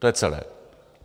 To je celé.